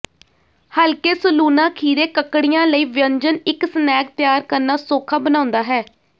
ਹਲਕੇ ਸਲੂਣਾ ਖੀਰੇ ਕਕੜੀਆਂ ਲਈ ਵਿਅੰਜਨ ਇੱਕ ਸਨੈਕ ਤਿਆਰ ਕਰਨਾ ਸੌਖਾ ਬਣਾਉਂਦਾ ਹੈ